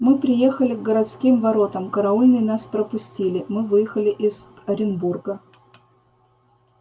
мы приехали к городским воротам караульные нас пропустили мы выехали из оренбурга